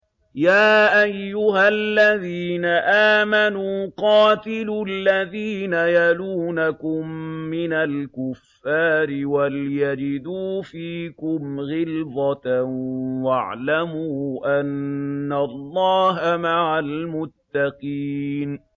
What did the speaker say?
يَا أَيُّهَا الَّذِينَ آمَنُوا قَاتِلُوا الَّذِينَ يَلُونَكُم مِّنَ الْكُفَّارِ وَلْيَجِدُوا فِيكُمْ غِلْظَةً ۚ وَاعْلَمُوا أَنَّ اللَّهَ مَعَ الْمُتَّقِينَ